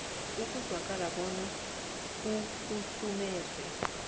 ekuzwakala bona ukhahlumeze